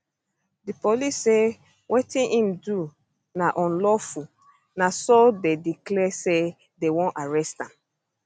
di police say wetin im do na unlawful na so dey declare say dey wan arrest am